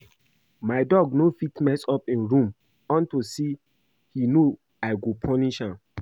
My dog no go fit mess up im room unto say he know I go punish am